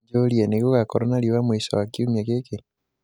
Njūrie nigūgakorwo na riūa mwīsho wa kiumia gīki